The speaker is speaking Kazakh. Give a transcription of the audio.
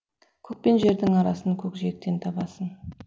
көк пен жердің арасын көкжиектен табасың